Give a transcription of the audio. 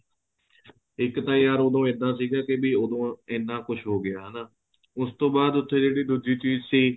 ਇੱਕ ਤਾਂ ਯਾਰ ਉਦੋਂ ਇੱਦਾਂ ਸੀਗਾ ਕੀ ਵੀ ਉਦੋਂ ਇੰਨਾ ਕੁੱਝ ਹੋ ਗਿਆ ਹਨਾ ਉਸ ਤੋਂ ਬਾਅਦ ਜਿਹੜੀ ਉੱਥੇ ਦੂਜੀ ਚੀਜ਼ ਸੀ